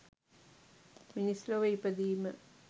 මිනිස් ලොව ඉපදීම